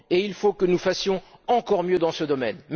Il faut que nous fassions encore mieux dans ce domaine.